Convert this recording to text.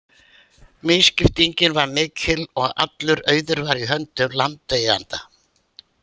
Misskiptingin var mikil og allur auður var í höndum landeigenda.